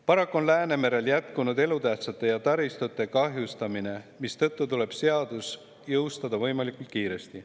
Paraku on Läänemerel jätkunud elutähtsa taristu kahjustamine, mistõttu tuleb seadus jõustada võimalikult kiiresti.